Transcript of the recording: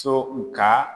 So u ka